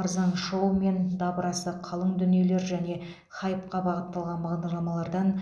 арзан шоу мен дабырасы қалың дүниелер және хайпқа бағытталған бағдарламалардан